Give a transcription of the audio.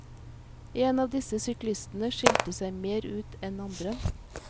En av disse syklistene skilte seg mer ut enn andre.